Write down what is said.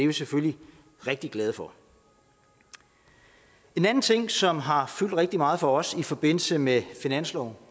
vi selvfølgelig rigtig glade for en anden ting som har fyldt rigtig meget for os i forbindelse med finansloven